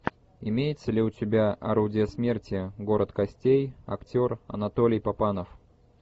имеется ли у тебя орудие смерти город костей актер анатолий папанов